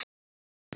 Þín Unnur.